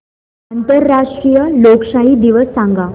आंतरराष्ट्रीय लोकशाही दिवस सांगा